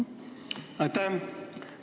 Aitäh!